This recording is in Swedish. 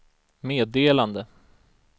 meddelande